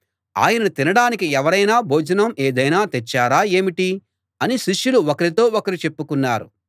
ఆయన తినడానికి ఎవరైనా భోజనం ఏదైనా తెచ్చారా ఏమిటి అని శిష్యులు ఒకరితో ఒకరు చెప్పుకున్నారు